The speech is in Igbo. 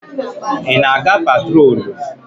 Ị na-aga patrolu?